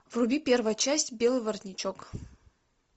вруби первая часть белый воротничок